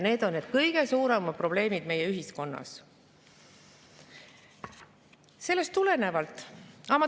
Need on need kõige suuremad probleemid meie ühiskonnas.